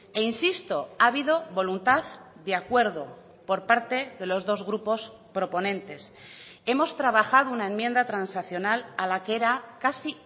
e insisto ha habido voluntad de acuerdo por parte de los dos grupos proponentes hemos trabajado una enmienda transaccional a la que era casi